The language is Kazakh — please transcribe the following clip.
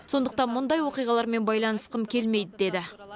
сондықтан мұндай оқиғалармен байланысқым келмейді деді